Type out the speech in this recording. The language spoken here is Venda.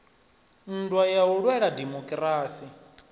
nndwa ya u lwela dimokirasi